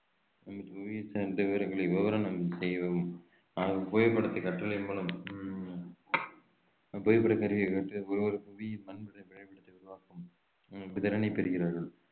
புவியியல் சார்ந்த விவரங்களை விவரணம் ஆகும் புவிப்படத்தை கற்றலின் மூலம் உம் ஒருவர் புவியின் மன வரை~ வரைபடத்தை உருவாக்கும் உம் திறனை பெறுகிறார்கள்